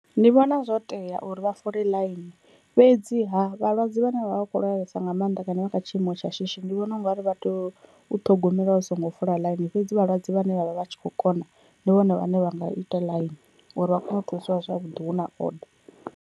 Ndi vhona zwo tea uri vha fola ḽaini, fhedziha vhalwadze vhane vha vha kho lwalesa nga mannḓa kana vha kha tshiimo tsha shishi ndi vhona ungari vha tea u ṱhogomela vha songo fola ḽaini, fhedzi vhalwadze vhane vhavha vhatshi kho kona ndi vhone vhane vha nga ita ḽaini uri vha kone u thusiwa zwavhuḓi hu na oder.